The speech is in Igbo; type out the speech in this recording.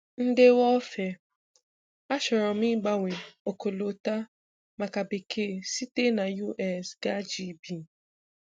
Ndewo Ofer. Achọrọ m ịgbanwe ọkọlọtọ maka bekee site na US gaa GB.